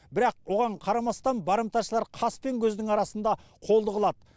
бірақ оған қарамастан барымташылар қас пен көздің арасында қолды қылады